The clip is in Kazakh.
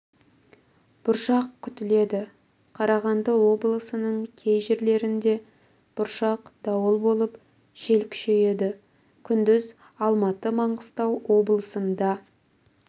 бұршақ күтіледі қарағанды облысының кей жерлерінде бұршақ дауыл болып жел күшейеді күндіз алматы маңғыстау облыстарында